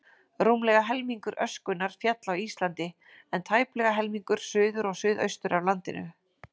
Rúmlega helmingur öskunnar féll á Íslandi, en tæplega helmingur suður og suðaustur af landinu.